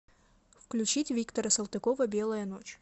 включить виктора салтыкова белая ночь